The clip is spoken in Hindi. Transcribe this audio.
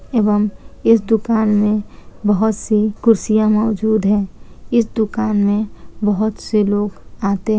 एवं इस दुकान मे बहुत से कुर्सियां मौजूद है इस दुकान मे बहुत से लोग आते --